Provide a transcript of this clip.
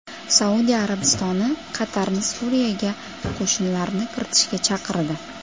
Saudiya Arabistoni Qatarni Suriyaga qo‘shinlarni kiritishga chaqirdi.